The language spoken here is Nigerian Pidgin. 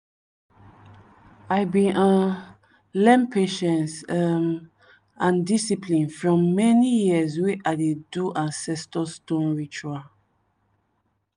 i bin um learn patience um and discipline from many years wey i dey do ancestor stone ritual.